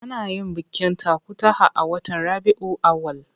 Ana yin bikin takutaha a watan Rabiyul Awwal.